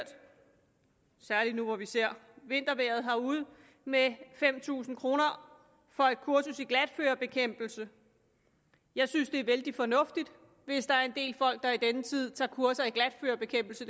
særlig nu hvor vi ser vintervejret herude med fem tusind kroner for et kursus i glatførebekæmpelse jeg synes det er vældig fornuftigt hvis der er en del folk der i denne tid tager kurser i glatførebekæmpelse